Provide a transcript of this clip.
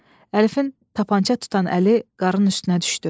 Əlifin tapança tutan əli qarnının üstünə düşdü.